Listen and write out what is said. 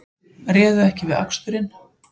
Réðu ekki við aksturinn